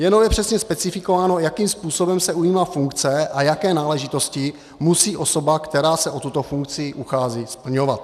Jenom je přesně specifikováno, jakým způsobem se ujímá funkce a jaké náležitosti musí osoba, která se o tuto funkci uchází, splňovat.